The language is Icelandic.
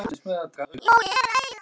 Hún er stutt en góð.